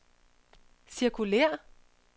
cirkulér